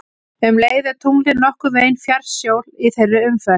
Um leið er tunglið nokkurn veginn fjærst sól í þeirri umferð.